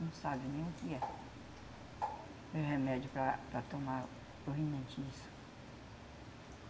Não sabe nem o que é. O remédio para para tomar isso.